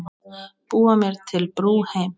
Búa mér til brú heim.